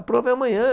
A prova é amanhã.